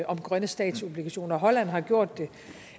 om grønne statsobligationer og at holland har gjort det